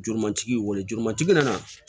Juru matigi y'i wele juru matigi nana